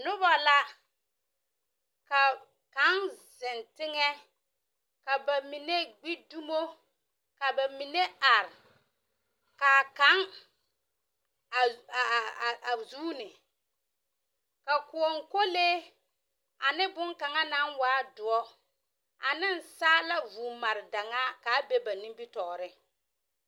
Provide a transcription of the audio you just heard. Noba la ka kaŋ zeŋ teŋԑ. Ka ba mine gbi dumo, ka ba mine are. Ka a kaŋ a aa a zuuni ka kõͻ kolee ane boŋkaŋa naŋ waa dõͻ ane saala vũũ mare daŋaa kaa be ba nimitͻͻreŋ.